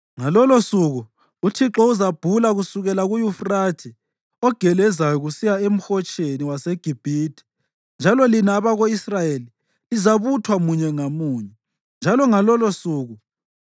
Ngalolosuku uThixo uzabhula kusukela kuYufrathe ogelezayo kusiya eMhotsheni waseGibhithe, njalo lina abako-Israyeli lizabuthwa munye ngamunye.